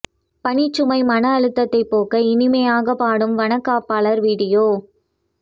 பணிச்சுமை மன அழுத்தத்தைப் போக்க இனிமையாகப் பாடும் வனக் காப்பாளர் வீடியோ